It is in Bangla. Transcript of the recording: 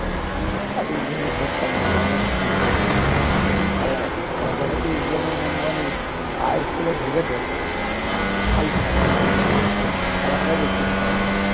কিন্তু ভাল লাগে না ওসব খেলা যবে থেকে east bengal মোহনবাগান এই IFL এ ঢুকেছে ফালতু খেলা ফালতু খেলাটাই দেখতে ইচ্ছা করে না